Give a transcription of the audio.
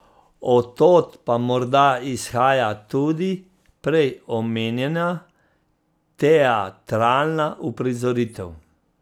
Od tod pa morda izhaja tudi prej omenjena teatralna uprizoritev.